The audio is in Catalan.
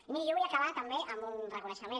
i miri jo vull acabar també amb un reconeixement